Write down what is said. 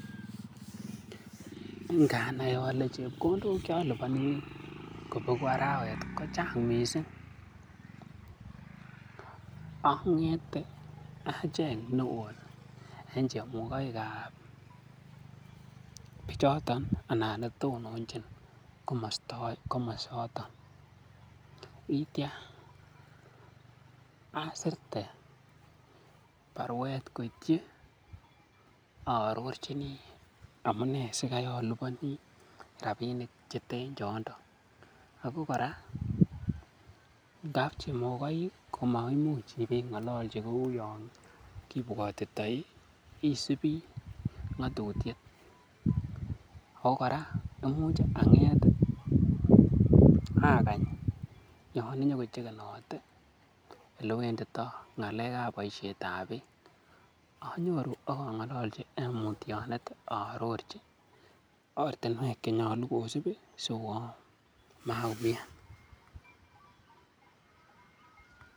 Nganai ole chepkondok che oliboni ngobegu arawet kochang' mising ang'ete acheng ne won en chemogoik ab bichoto anan ne tononjin komosoton ak kityo asirte barwet koityi aarorojini amune sikai oliboni rabinik cheten chondo ago kora ngab chemokoik ko maimuch ibe ng'ololchi kou yon kibwotitoi isibi ng'atutiet ago kora komuch ang'et agany yon inyokochekenote ele wendito ng'alek ab boisiet ab beek anyoru ak ong'ololchi en mutyonet arorji ortinwek chenyolu kosib sikomaumian.